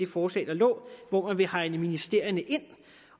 forslag der lå hvor man ville hegne ministerierne ind